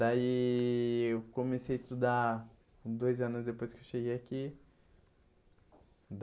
Daí eu comecei a estudar dois anos depois que eu cheguei aqui.